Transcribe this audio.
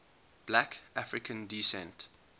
black african descent